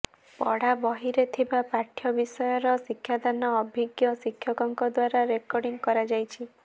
ପଢ଼ା ବହିରେ ଥିବା ପାଠ୍ୟ ବିଷୟର ଶିକ୍ଷାଦାନ ଅଭିଜ୍ଞ ଶିକ୍ଷକଙ୍କ ଦ୍ୱାରା ରେକର୍ଡିଂ କରାଯାଇଛି